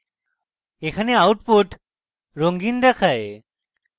এখানে output রঙিন দেখায়